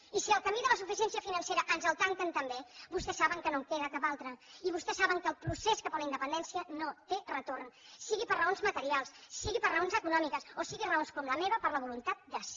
i si el camí de la suficiència financera ens el tanquen també vostès saben que no en queda cap altre i vostès saben que el procés cap a la independència no té retorn sigui per raons materials sigui per raons econòmiques o sigui per raons com la meva per la voluntat de ser